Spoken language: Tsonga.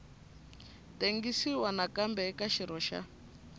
tengisiwa nakambe eka xirho xa